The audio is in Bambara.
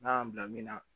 N'a y'an bila min na